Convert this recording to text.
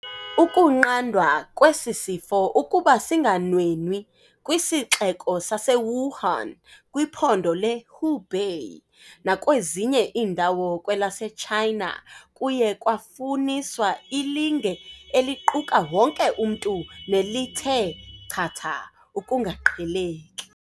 Ukunqandwa kwesi sifo ukuba singanwenwi kwiSixeko sase-Wuhan, kwiPhondo le-Hubei nakwezinye iindawo kwelase-China kuye kwafuniswa ilinge eliquka wonke umntu nelithe chatha ukungaqheleki.